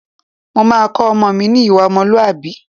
Mo máa kọ́ ọmọ mi ní ìwà ọmọlúwàbí